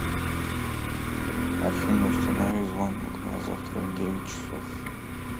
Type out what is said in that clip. афина установи звонок на завтра в девять часов